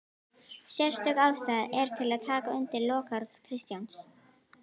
Sérstök ástæða er til að taka undir lokaorð Kristjáns